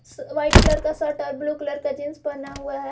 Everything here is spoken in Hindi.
व्हाइट कलर का शर्ट और ब्लू कलर का जींस पहना हुआ है।